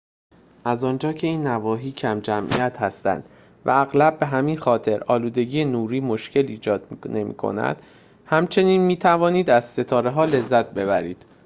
از آنجا که این نواحی کم‌جمعیت هستند و اغلب به همین خاطر آلودگی نوری مشکلی ایجاد نمی‌کند همچنین می‌توانید از ستاره‌ها لذت ببرید